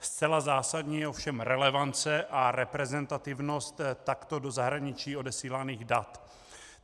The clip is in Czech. Zcela zásadní je ovšem relevance a reprezentativnost takto do zahraničí odesíláných dat.